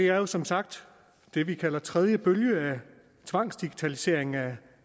er jo som sagt det vi kalder tredje bølge af tvangsdigitaliseringen af